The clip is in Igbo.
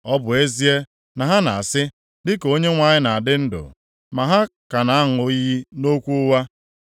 Ọ bụ ezie, na ha na-asị, ‘Dịka Onyenwe anyị na-adị ndụ,’ ma ha ka na-aṅụ iyi nʼokwu ụgha.”